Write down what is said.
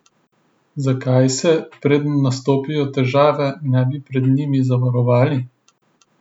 Zakaj se, preden nastopijo težave, ne bi pred njimi obvarovali?